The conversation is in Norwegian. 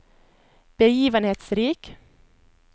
begivenhetsrik